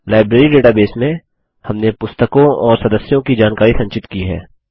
library database में हमने पुस्तकों और सदस्यों की जानकारी संचित की है